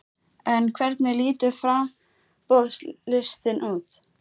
En hvernig lítur framboðslistinn út?